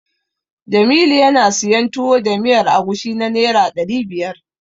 Jamilu yana siyan Tuwo da miyar agushi na Naira ɗari biyar.